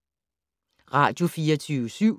Radio24syv